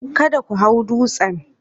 Kada ku hau dutsen.